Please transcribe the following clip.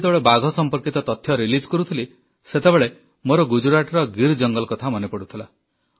ମୁଁ ଯେତେବେଳେ ବାଘ ସମ୍ପର୍କିତ ତଥ୍ୟ ଉନ୍ମୋଚନ କରୁଥିଲି ସେତେବେଳେ ମୋର ଗୁଜରାଟର ଗୀର୍ ଜଙ୍ଗଲ କଥା ମନେପଡ଼ୁଥିଲା